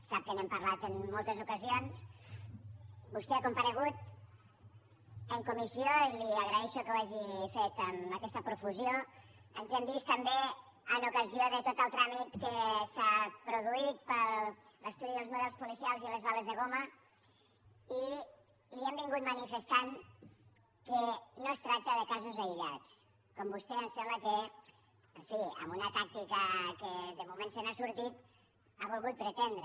sap que n’hem parlat en moltes ocasions vostè ha comparegut en comissió i li agraeixo que ho hagi fet amb aquesta profusió ens hem vist també en ocasió de tot el tràmit que s’ha produït per l’estudi dels models policials i les bales de goma i li hem manifestat que no es tracta de casos aïllats com vostè em sembla que en fi amb una tàctica amb què de moment se n’ha sortit ha volgut pretendre